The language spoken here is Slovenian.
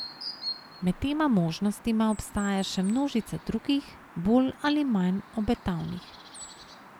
Med tema možnostma obstaja še množica drugih, bolj ali manj obetavnih.